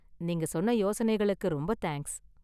நீங்க சொன்ன யோசனைகளுக்கு ரொம்ப தேங்க்ஸ்.